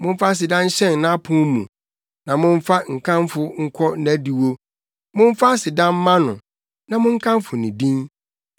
Momfa aseda nhyɛn nʼapon mu, na momfa nkamfo nkɔ nʼadiwo; momfa aseda mma no, na monkamfo ne din.